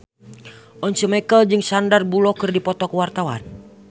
Once Mekel jeung Sandar Bullock keur dipoto ku wartawan